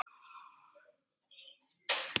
En það sést alveg.